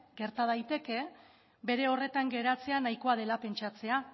gerta daiteke bere horretan geratzea nahikoa dela pentsatzea